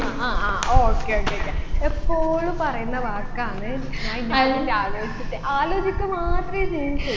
ആ ആ ആ okay okay okay എപ്പോഴും പറയുന്ന വാക്കാണ് ഞാൻ നിന്നെ പറ്റി ആലോചിച്ചിട്ട് ആലോചിക്ക മാത്രേ ചെയ്യും ചെയ്യൂ